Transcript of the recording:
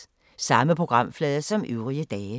Samme programflade som øvrige dage